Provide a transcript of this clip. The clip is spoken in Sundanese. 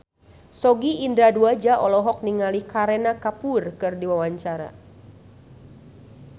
Sogi Indra Duaja olohok ningali Kareena Kapoor keur diwawancara